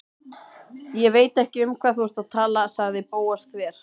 Ég veit ekki um hvað þú ert að tala- sagði Bóas þver